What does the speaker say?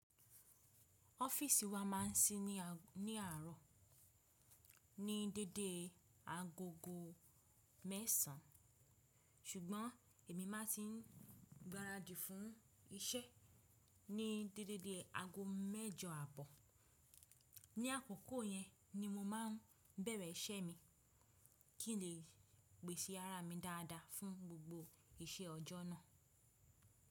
Ọ́fíìsì wa máà ń sí ní àárọ̀ ní dédée agogo mẹ́sàn-án, ṣùgbọ́n èmi má tì ń gbaradì fún iṣẹ́ ní déédé dé ago mẹ́jọ àbọ. Ní àkókò yẹn ní mo má a ń bẹ̀rẹ̀ iṣẹ́ mi kí ń lè pèsè ara mi dáadáa fún gbogbo iṣẹ́ ọjọ́ náà.